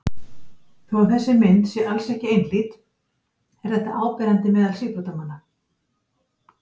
Þó að þessi mynd sé alls ekki einhlít er þetta áberandi meðal síbrotamanna.